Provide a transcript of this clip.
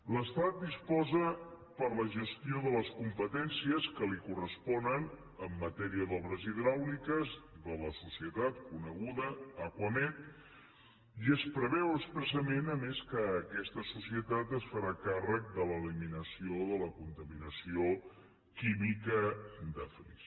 l’estat disposa per a la gestió de les competències que li corresponen en matèria d’obres hidràuliques de la societat coneguda acuamed i es preveu expressament a més que aquesta societat es farà càrrec de l’eliminació de la contaminació química de flix